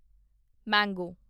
ਮੰਗੋ